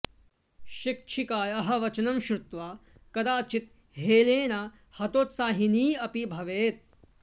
शिक्षिकायाः वचनं श्रुत्वा कदाचित् हेलेन हतोत्साहिनी अपि भवेत्